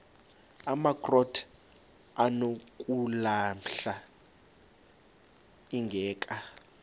amakrot anokulamla ingeka